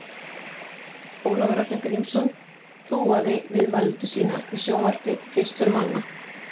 Ólafur Ragnar Grímsson þúaði viðmælendur sína í sjónvarpi fyrstur manna.